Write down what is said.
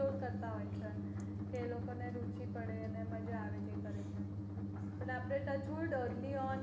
explore કરતા હોય છે એ લોકો ને રુચિ પડે એ લોકો ને મજ્જા પડે જે કરે તે